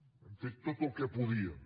hi hem fet tot el que podíem